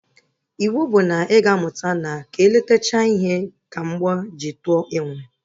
Iwu bụ na ị ga amụta na ka e letechaa ihe ka m bọọ ji tụọ enwe!